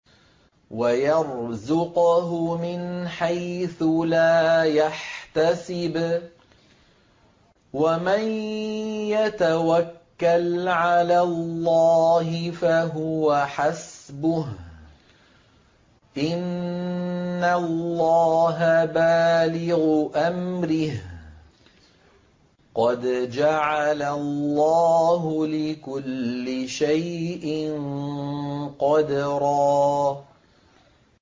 وَيَرْزُقْهُ مِنْ حَيْثُ لَا يَحْتَسِبُ ۚ وَمَن يَتَوَكَّلْ عَلَى اللَّهِ فَهُوَ حَسْبُهُ ۚ إِنَّ اللَّهَ بَالِغُ أَمْرِهِ ۚ قَدْ جَعَلَ اللَّهُ لِكُلِّ شَيْءٍ قَدْرًا